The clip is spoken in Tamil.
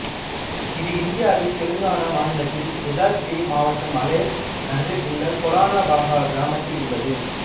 இது இந்தியாவின் தெலங்காணா மாநிலத்தில் யாதத்ரி மாவட்டம் அலேர் நகரில் உள்ள கோலானுபகா கிராமத்தில் உள்ளது